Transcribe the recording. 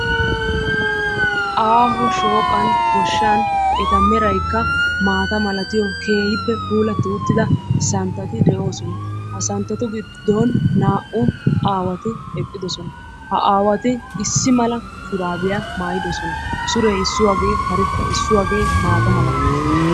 Aaho shooqan goshshan eta meraykka maata malatiyo keehippe puulatti uttida santtati de"oosona. Ha santtatu giddon naa"u aawati eqqidosona. Ha aawati issi mala shuraabiya maayidosona. Suree issuwagee karetta issuwagee maata malates.